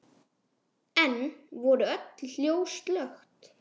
Enn voru öll ljós slökkt.